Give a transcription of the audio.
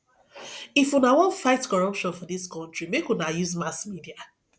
if una wan fight corruption for dis country make una use mass media